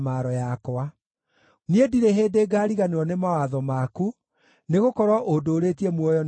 Niĩ ndirĩ hĩndĩ ngaariganĩrwo nĩ mawatho maku, nĩgũkorwo ũndũũrĩtie muoyo nĩ ũndũ wamo.